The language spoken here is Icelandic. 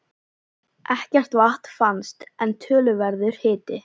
Ekkert vatn fannst, en töluverður hiti.